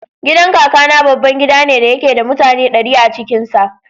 Gidan Kakana babban gida ne da yake da mutane ɗari a cikin sa.